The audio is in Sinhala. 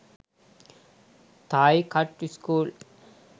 thai cut school